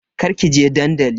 Kar kije dandali.